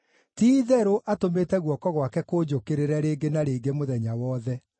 ti-itherũ, atũmĩte guoko gwake kũnjũkĩrĩre rĩngĩ na rĩngĩ, mũthenya wothe.